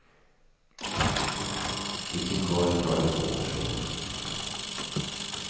I sin korg tar den två personer.